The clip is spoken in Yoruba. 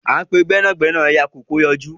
À ń pe gbẹ́nàgbẹ́nà ẹyẹ àkókó ń yọjú